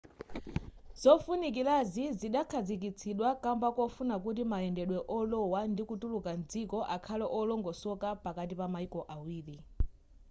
zofunikirazi zidakhazikitsidwa kamba kofuna kuti mayendedwe olowa ndi kutuluka mdziko akhale olongosoka pakati pa mayiko awiri